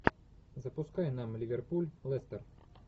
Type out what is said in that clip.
запускай нам ливерпуль лестер